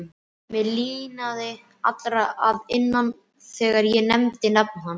Mér hlýnaði allri að innan þegar ég nefndi nafnið hans.